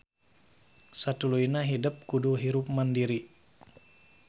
Satuluyna hidep kudu hirup mandiri